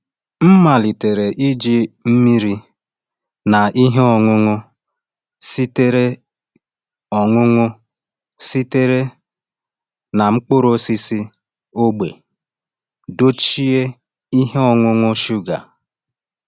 M malitere iji mmiri na ihe ọṅụṅụ sitere ọṅụṅụ sitere na mkpụrụ osisi ógbè dochie ihe ọṅụṅụ shuga.